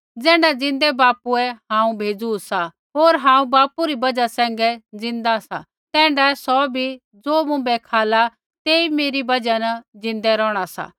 ज़ैण्ढा ज़िन्दै बापुए हांऊँ भेज़ू सा होर हांऊँ बापू री बजहा सैंघै ज़िन्दा सा तैण्ढाऐ सौ भी ज़ो मुँभै खाला तेई मेरी बजहा न ज़िन्दै रौहणा सा